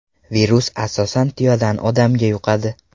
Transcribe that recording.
Virus asosan tuyadan odamga yuqadi.